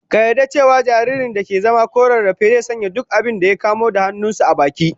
Ka yarda cewa jaririn da ke zama ko rarrafe, zai sanya duk abinda ya kamo da hannun sa a baki?